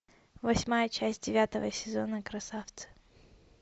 восьмая часть девятого сезона красавцы